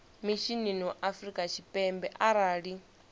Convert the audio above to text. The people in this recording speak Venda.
mishinini wa afrika tshipembe arali